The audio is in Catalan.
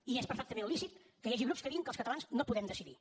i és perfectament lícit que hi hagi grups que diguin que els catalans no podem decidir